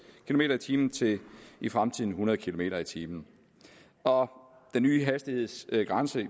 kilometer per time til i fremtiden hundrede kilometer per time og den nye hastighedsgrænse